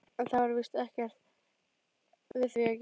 En það var víst ekkert við því að gera.